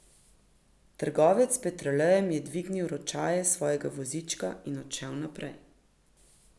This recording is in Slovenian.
Trgovec s petrolejem je dvignil ročaje svojega vozička in odšel naprej.